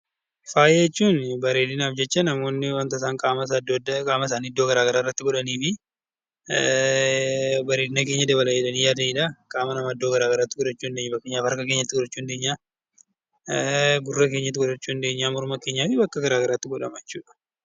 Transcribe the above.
Faaya jechuun bareedinaaf jecha namoonni kan qaama isaa iddoo garaagaraa, bareedina keenya dabala jedhanii yaadanidha. Qaama keenya yookaan harka keenyatti godhachuu, gurra keenyatti godhachuu, morma keenyaa fi bakkee garaagaraa godhama jechuudha.